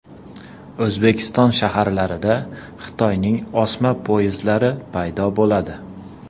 O‘zbekiston shaharlarida Xitoyning osma poyezdlari paydo bo‘ladi.